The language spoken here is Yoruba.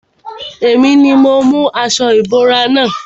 Èmi ni mo mú aṣo ìbora na.